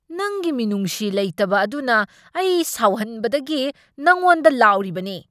ꯅꯪꯒꯤ ꯃꯤꯅꯨꯡꯁꯤ ꯂꯩꯇꯕ ꯑꯗꯨꯅ ꯑꯩ ꯁꯥꯎꯍꯟꯕꯗꯒꯤ ꯅꯪꯉꯣꯟꯗ ꯂꯥꯎꯔꯤꯕꯅꯤ꯫